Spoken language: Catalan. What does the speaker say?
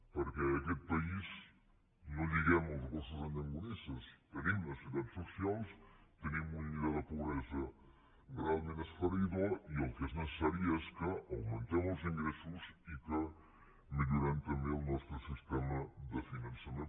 perquè en aquest país no lliguem els gossos amb llonganisses tenim necessitats socials tenim un llindar de pobresa realment esfereïdor i el que és necessari és que augmentem els ingressos i que millorem també el nostre sistema de finançament